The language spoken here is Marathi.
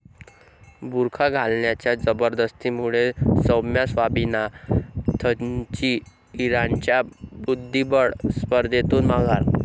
बुरखा घालण्याच्या जबरदस्तीमुळे सौम्या स्वामीनाथनची इराणच्या बुद्धिबळ स्पर्धेतून माघार!